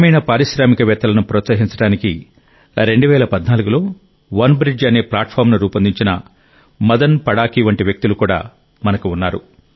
గ్రామీణ పారిశ్రామికవేత్తలను ప్రోత్సహించడానికి 2014లో వన్బ్రిడ్జ్ అనే ప్లాట్ఫారమ్ను రూపొందించిన మదన్ పడకి వంటి వ్యక్తులు కూడా మనకు ఉన్నారు